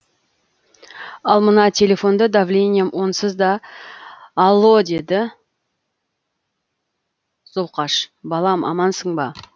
ал мына телефонды давлением онсыз да алло деді зұлқаш балам амансың ба